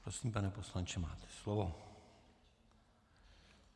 Prosím, pane poslanče, máte slovo.